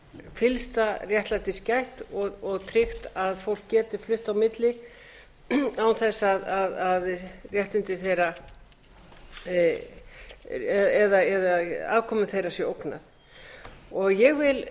fyllsta réttlætis gætt og tryggt að fólk geti flutt á milli án þess að réttindi þeirra eða afkomu þeirra sé ógnað ég vil